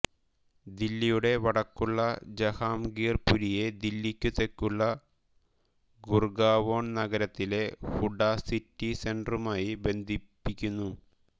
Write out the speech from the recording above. ദില്ലിയുടെ വടക്കുള്ള ജഹാംഗീർപുരിയെ ദില്ലിക്കു തെക്കുള്ള ഗുർഗാവോൺ നഗരത്തിലെ ഹുഡ സിറ്റി സെന്ററുമായി ബന്ധിപ്പിക്കുന്നു